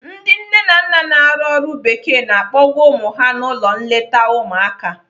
Ndị nne na nna na-arụ ọrụ bekee na-akpọga ụmụ ha n'ụlọ nleta ụmụaka.